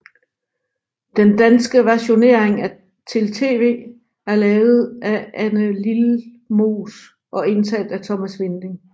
Den danske versionering til TV er lavet af Anne Lilmoes og indtalt af Thomas Winding